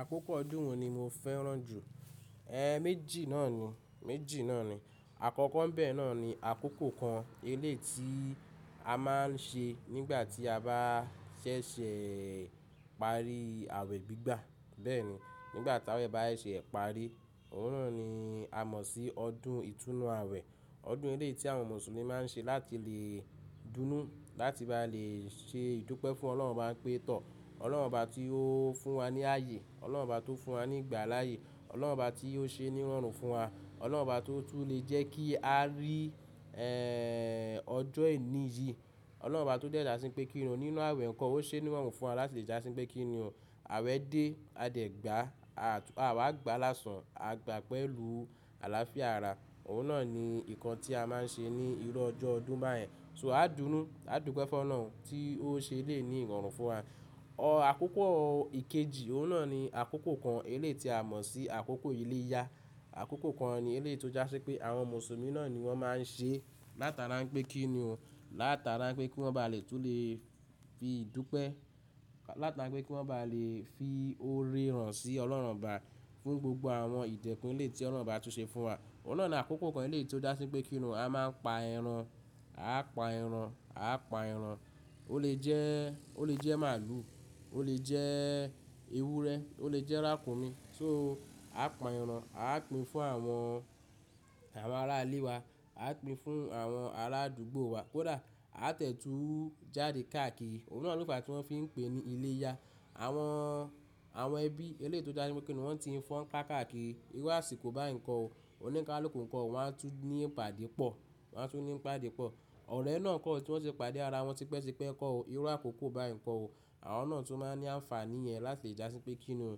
Àkókò ọdún wo ni mo fẹ́ràn jù? E méjì náà ni, méjì náà ni. Àkọ́kọ́ ńbẹ náà ni àkókò kan eléeti a máa ń ṣe nígbà tí a bá ṣẹ̀ṣẹ̀ parí àwẹ̀ gbígbà. Bẹ́ẹ̀ ni nígbà tí àwẹ̀ bá ṣe parí, òun náà ni a mọ̀ sí ọdún ìtúnu àwẹ̀. Ọdún eléeti tí àwọn Mùsùlùmí máa ń ṣe láti lè dúnú, láti bá lè ṣe ìdúpẹ́ fún Ọlọ́run bá ń pe tọ̀. Ọlọ́run bá tí ó fún wa ní ààyè, Ọlọ́run bá tó fún wa ní ìgbà láàyè, Ọlọ́run bá tí ó ṣe níwọ̀nru fún wa, Ọlọ́run bá tó tú lè jẹ́ kí a rí e ọjọ́ ení yìí, Ọlọ́run obá tó jẹ́ dá sí pé kí nìún nínú àwẹ̀ kan, ó ṣe níwọ̀nru fún wa láti lè jásí pé kí nì o. Àwẹ̀ dé, a dẹ̀ gbà á, àwa gbà lásán, a gbà pẹ̀lú àlàáfíà ara. Òun náà ni nǹkan tí a máa ń ṣe ní irọ́ ọjọ́ ọdún báyẹn. So a dùn ún, a dúpẹ́ fún Ọlọ́run tí ó ṣe lé ní irorun fún wa. Ọ àkókò ìkejì, òun náà ni àkókò kan eléeti a mọ̀ sí àkókò iléyá. Àkókò kan eléeti ó jásí pé àwọn Mùsùlùmí náà ni wọ́n máa ń ṣe látara pé kí nì ún, látara pé kí wọ́n bá lè tún lè fi ìdúpẹ́, látara pé kí wọ́n bá lè fi oore hàn sí Ọlọ́run obá fún gbogbo àwọn ìtẹ̀kún eléeti Ọlọ́run bá tún ṣe fún wa. Òun náà ni àkókò kan eléeti ó jásí pé kí nì ún a máa pa ẹran, a pa ẹran, a pa ẹran. Ó lè jẹ́, ó lè jẹ́ màálù, ó lè jẹ́ ewúrẹ́, ó lè jẹ́ ràkùnmí. So a pa ẹran, a pín fún àwọn, àwọn ará ìle wa, a pín fún àwọn ará àdúgbò wa. Kódà a tẹ̀ tu jáde káàkiri. Òun náà ló fàá tí wọ́n fi ń pè ní iléyá. Àwọn, àwọn ẹbí elée tó jásí pé kí nìún wọ́n ti ń fọn kaa káàkiri. Irú àsìkò bá nǹkan ò, oní nká l'òkú nǹkan ò wọ́n á tún ní ìpàdé pọ̀, wọ́n á tún ní ìpàdé pọ̀. Ọ̀rẹ́ náà ko tí wọ́n ti pàdé ara wọn tipẹ́tipẹ́ kan ò, irú àkókò bá nǹkan ò, àwọn náà tún máa ní àǹfàní yẹn láti jásí pé kí nìún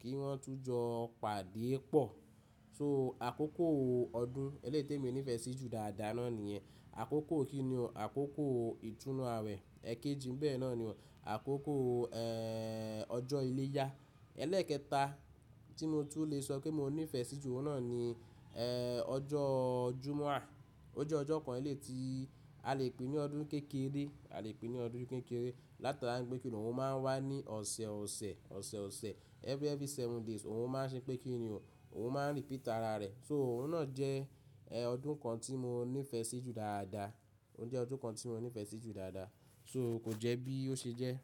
kí wọ́n tún jọ pàdé pọ̀. So àkókò ọdún eléétèmi nífẹ̀ẹ́ sí jù dáadáa náà níyẹn. Àkókò kí nìún, àkókò ìtúnu àwẹ̀. Ẹ̀kejì ńbẹ́ náà ni àkókò e ọjọ́ iléyá. Elẹ́ẹ̀kẹta tí mo tún lè sọ pé mo nífẹ̀ẹ́ sí jù, òun náà ni e ọjọ́ Jummua. Ó jẹ́ ọjọ́ kan eléeti a lè pè ní ọdún kékeré, a lè pè ní ọdún kékeré látara pé kí nì òun máa ń wá ní ọ̀sẹ̀ ọ̀sẹ̀, ọ̀sẹ̀ ọ̀sẹ̀, every, every seven days òun máa ń ṣe pé kí nì o, òun máa ń repeat ara rẹ̀. So òun náà jẹ́ ẹ ọdún kan tí mo nífẹ̀ẹ́ sí jù dáadáa. Ó jẹ́ ọdún kan tí mo nífẹ̀ẹ́ sí jù dáadáa. So kò jẹ́ bí ó ṣe jẹ́.